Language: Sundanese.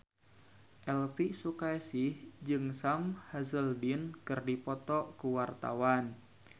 Elvi Sukaesih jeung Sam Hazeldine keur dipoto ku wartawan